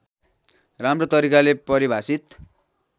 राम्रो तरिकाले परिभाषित